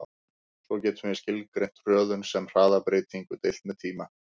Svo getum við skilgreint hröðun sem hraðabreytingu deilt með tíma.